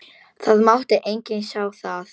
Það mátti enginn sjá það.